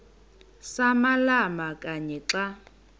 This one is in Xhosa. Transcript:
samalama kanye xa